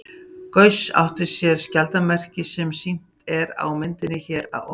Gauss átti sér skjaldarmerki, sem sýnt er á myndinni hér að ofan.